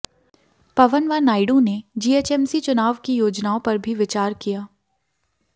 पवन व नायडू ने जीएचएमसी चुनाव की योजनाओं पर भी विचार किया